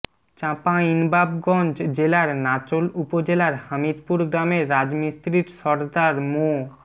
চাঁপাইনবাবগঞ্জ জেলার নাচোল উপজেলার হামিদপুর গ্রামের রাজমিস্ত্রির সর্দার মো